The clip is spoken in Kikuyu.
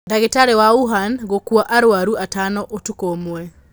Ndagĩtarĩ wa Wuhan gũkua arwaru atano ũtukũ ũmwe